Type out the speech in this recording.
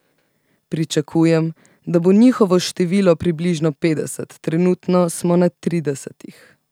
Pričakujem, da bo njihovo število približno petdeset, trenutno smo na tridesetih.